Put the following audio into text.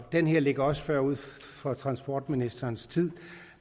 det her ligger også forud for transportministerens tid